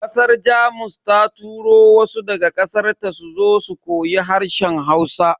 Kasar Jamus ta turo wasu daga kasarta suzo su koyi harshen Hausa.